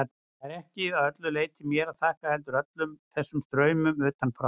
Það er ekki að öllu leyti mér að þakka, heldur líka öllum þessum straumum utanfrá.